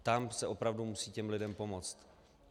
Tam se opravdu musí těm lidem pomoct.